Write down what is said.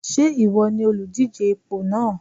Ṣé ìwọ ni olùdíje ipò náà?